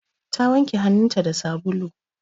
Ta wanke hannunta da sabulu.